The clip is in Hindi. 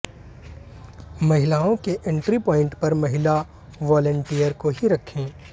महिलाओं के इंट्री प्वाइंट पर महिला वोंलेंटियर को ही रखें